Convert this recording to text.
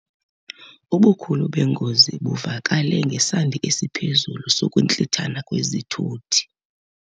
Ubukhulu bengozi buvakale ngesandi esiphezulu sokuntlithana kwezithuthi.